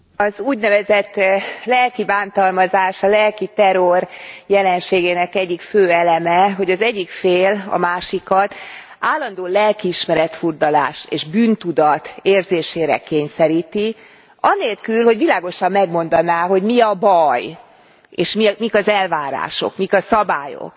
Az úgynevezett lelki bántalmazás, lelki terror jelenségének egyik fő eleme, hogy az egyik fél a másikat állandó lelkiismeret furdalás és bűntudat érzésére kényszeríti anélkül, hogy világosan megmondaná, hogy mi a baj és mik az elvárások, mik a szabályok.